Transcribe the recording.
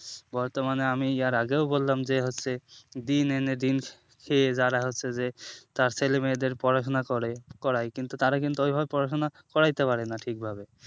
বর্তমানে আমি এর আগেও বললাম যে হচ্ছে দিন এনে দিন সে যারা হচ্ছে যে তার ছেলে মেয়েদের পড়াশোনা করে করাই কিন্তু তার কিন্তু ওই ভাবে পড়াশোনা কড়াইতে পারে না ঠিক ভাবে